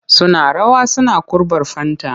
Suna rawa suna kurɓar fanta.